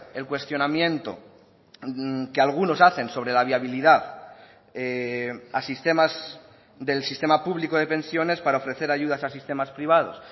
el cuestionamiento que algunos hacen sobre la viabilidad a sistemas del sistema público de pensiones para ofrecer ayudas a sistemas privados